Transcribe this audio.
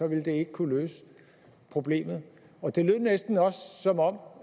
ville det ikke kunne løse problemet og det lød næsten også som om